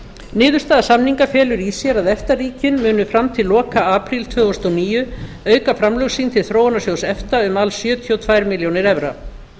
niðurstaða samninga felur í sér að efta ríkin munu fram til loka apríl tvö þúsund og níu auka framlög sín til þróunarsjóðs efta um alls sjötíu og tvær milljónir evra